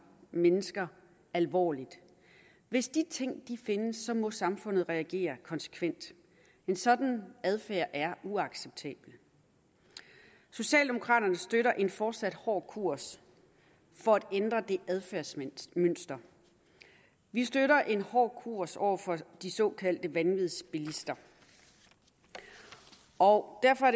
mennesker alvorligt hvis de ting findes må samfundet reagere konsekvent en sådan adfærd er uacceptabel socialdemokraterne støtter en fortsat hård kurs for at ændre det adfærdsmønster vi støtter en hård kurs over for de såkaldte vanvidsbilister og derfor